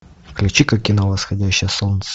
включи ка кино восходящее солнце